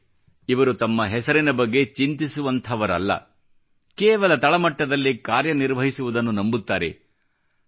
ಆದರೆ ಇವರು ತಮ್ಮ ಹೆಸರಿನ ಬಗ್ಗೆ ಚಿಂತಿಸುವಂಥವರಲ್ಲ ಕೇವಲ ತಳ ಮಟ್ಟದಲ್ಲಿ ಕಾರ್ಯ ನಿರ್ವಹಿಸುವುದನ್ನು ನಂಬುತ್ತಾರೆ